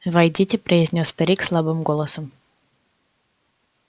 войдите произнёс старик слабым голосом